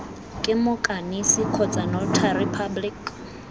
ke moikanisi kgotsa notary public